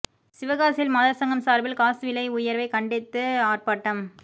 சிவகாசியில் மாதர் சங்கம் சார்பில் காஸ் விலை உயர்வை கண்டித்து ஆர்ப்பாட்டம்